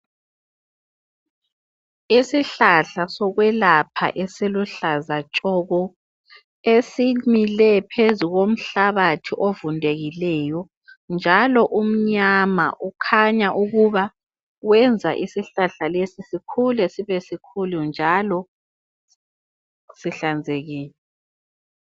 Isihlahla sokwelapha esiluhlaza tshoko. Esimile phezu komhlabathi ovundekileyo njalo umnyama. Ukhanya ukuba wenza isihlahla lesi sikhule sibe sikhulu njalo sihlanzekile.